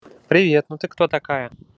привет ну ты кто такая